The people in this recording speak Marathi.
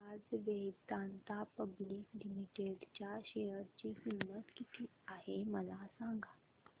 आज वेदांता पब्लिक लिमिटेड च्या शेअर ची किंमत किती आहे मला सांगा